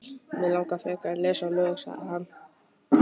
Mig langar frekar að lesa lög, sagði hann.